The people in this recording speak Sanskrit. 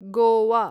गोआ